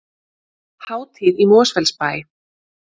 Hátíð í Mosfellsbæ